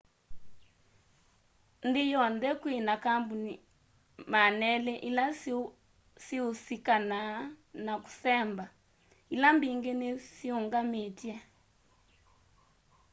nthi yonthe kwina kambuni 200 ila siusikanaa na kũsemba ila mbingi ni syiinyungamitye